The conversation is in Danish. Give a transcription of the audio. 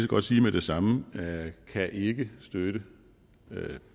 godt sige med det samme kan ikke støtte